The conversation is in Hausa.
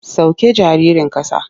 Sauke jaririn ƙasa.